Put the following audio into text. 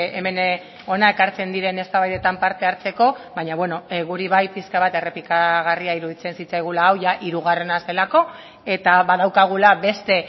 hemen hona ekartzen diren eztabaidetan parte hartzeko baina bueno guri bai pixka bat errepikagarria iruditzen zitzaigula hau jada hirugarrena zelako eta badaukagula beste